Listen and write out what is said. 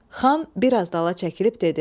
Xan biraz dala çəkilib dedi: